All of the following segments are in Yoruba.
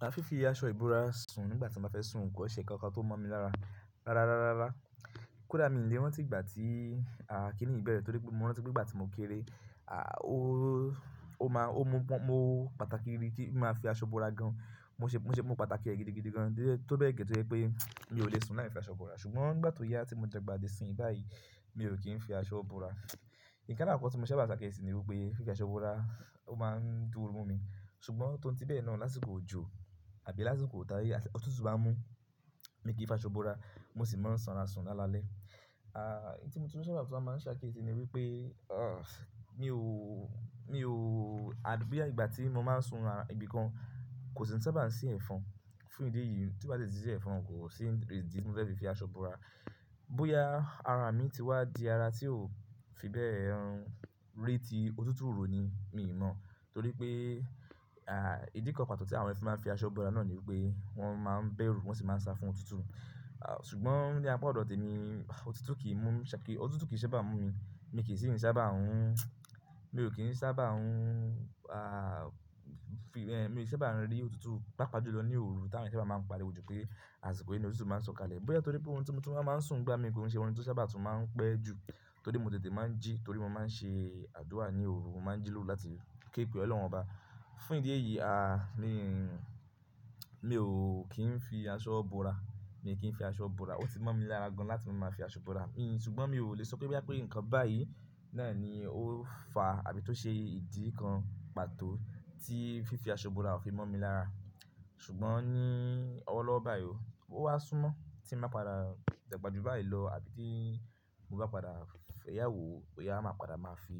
Máa fi fi aṣọ ìbora sùn nígbà tí màá fi sùn kọ́ iṣẹ́ kankan tó mọ́ mi lára. Rárá, rárá, rárá. Kódà mi n léran ti ìgbà tí, à, kí ni ìbẹ̀rẹ̀ torí pé mo rántí pé ìgbà tí mo kéré, à, ó, ó máa, ó mú mo pàtàkì rí tí màá fi aṣọ ìbora gan. Mo ṣe, mo ṣe mú ò pàtàkì rẹ̀ gidigidi gan. Tó bẹ́ẹ̀ gẹ́ tó jẹ́ pé mi ò lè sùn láì fi aṣọ ìbora. Ṣùgbọ́n nígbà tó yá tí mo jẹ̀gbà di ìsìn báyìí, mi ò kí ń fi aṣọ bora. Ǹkan aláàkọ́ tí mo sábà ṣàkíyèsí ni wípé fi aṣọ bora ó máa ń doru mu mi. Ṣùgbọ́n torí tí bẹ́ẹ̀ náà lásìkò òjò àbí lásìkò ọ̀tarí, ọ̀tútù bá mú mi kí ń fi aṣọ ìbora, mo sì máa ń san rasùn lálalẹ́. À, ohun tí mo sábà máa ń ṣàkíyèsí ni wípé, ah, mi ò, mi ò, àbí ọ̀yá ìgbà tí mo máa ń sùn ibìkan kò sì ń sábà ń sí ẹ̀fọn. Fún ìdí èyí tí bá ti di sí ẹ̀fọn kò sì ń rí ìdí tí mo fẹ́ fi fi aṣọ ìbora. Bóyá ara mi ti wá di ara tí ò fi bẹ́ẹ́ rí ti ọ̀tútù ro ni, mi ò mọ̀. Torí pé, à, ìdí kan pàtó tí àwọn ẹbí máa ń fi aṣọ ìbora náà ni wípé wọ́n máa ń bẹ́rù wọ́n sì máa ń sá fún ọ̀tútù. À, ṣùgbọ́n ní apá ọ̀dọ̀ tèmi ọ̀tútù kì í mú ṣàkí, ọ̀tútù kì í sábà mú mi. Mi kì í sì ń sábà hún, mi ò kí ń sábà hún, à, fi, è, mi ò sábà ń rí ọ̀tútù bá padà lọ ní òru tá ì wá sábà máa ń pariwo ju pé àṣíko yi ni ọ̀tútù máa ń sọ̀kalẹ̀. Bóyá torí pé ohun tí mo tún máa ń sùn gba mi kò ṣe ohun tí ó sábà tún máa ń pẹ́ jù torí mo tètè máa ń jí torí mo máa ń ṣe àdúrà ní òru. Mo máa ń jí lòru láti ké pe Ọlọ́run ọba. Fún ìdí èyí, a, mi ò kí ń fi aṣọ bora, mi ò kí ń fi aṣọ bora. Ó ti mọ́ mi lára gan láti màá fi aṣọ bora. Mi, ṣùgbọ́n mi ò lè sọ pé bí àpé nǹkan báyìí náà ni ó fa àbí tó ṣe ìdí kan pàtó tí fífi aṣọ bora ò fi mọ́ mi lára. Ṣùgbọ́n ní ọwọ́ lọ́wọ́ báyìí ò, ó wá súnmọ́ tí màá padà jẹ̀gbà ju báyìí lọ àbí tí mo bá padà fẹ́yàwó, ó yá màá padà máa fi,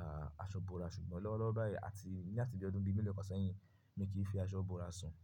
à, aṣọ bora. Ṣùgbọ́n lọ́wọ́ lọ́wọ́ báyìí àti ní àtijọ́ ọdún bí mẹ́ẹ̀lọ́ kan sẹ́yìn, mi kì í fi aṣọ ìbora sùn.